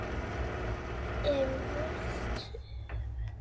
er velt upp.